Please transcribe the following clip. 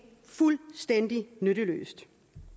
fuldstændig nytteløst